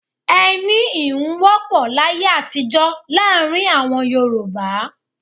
Ẹni íhun wọ́pọ̀ láyé àtijó láàrin àwọn Yorùbá.